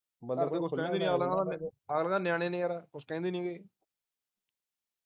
ਅਗਲੇ ਤਾ ਨਿਆਣੇ ਨੇ ਯਾਰ ਕੁਛ ਕਹਿੰਦੇ ਨੀਗੇ